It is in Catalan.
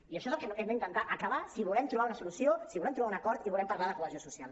i això és el que hem d’intentar acabar si volem trobar una solució si volem trobar un acord i volem parlar de cohesió social